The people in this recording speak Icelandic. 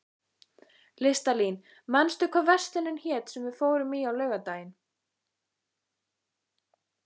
Listalín, manstu hvað verslunin hét sem við fórum í á laugardaginn?